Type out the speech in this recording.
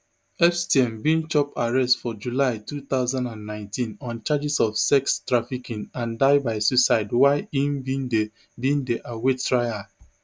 epstein bin chop arrest for july two thousand and nineteen on charges of sex trafficking and die by suicide while im bin dey bin dey await trial